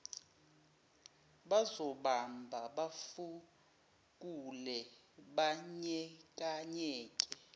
bazobamba bafukule kanyekanye